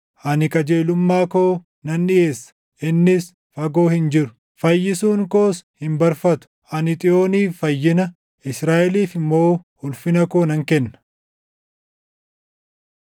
Ani qajeelummaa koo nan dhiʼeessa; innis fagoo hin jiru; fayyisuun koos hin barfatu. Ani Xiyooniif fayyina, Israaʼeliif immoo ulfina koo nan kenna.